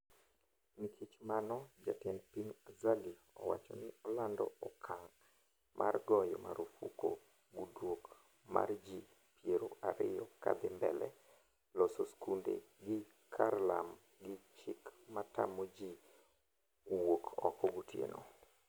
Nikech mano jatend piny Azali owacho ni olando okang' mar goyo marufuku gudruok mar ji piero ariyo kadhi mbele, loro skunde gi karlam gi chik matamo ji wuok oko gotieno.